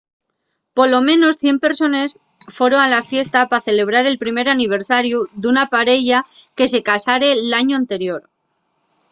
polo menos 100 persones foron a la fiesta pa celebrar el primer aniversariu d’una pareya que se casare l’añu anterior